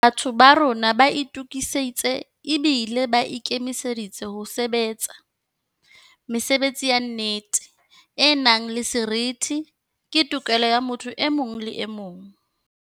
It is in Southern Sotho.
Batho ba rona ba itukisitse ebile ba ikemiseditse ho sebe tsa. Mesebetsi ya nnete, e nang le seriti, ke tokelo ya motho e mong le emong.